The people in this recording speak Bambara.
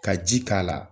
Ka ji k'a la